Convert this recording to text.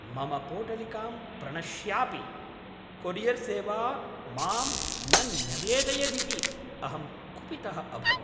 मम पोटलिकां प्रणश्यापि कोरियर्सेवा मां न न्यवेदयदिति अहं कुपितः अभवम्।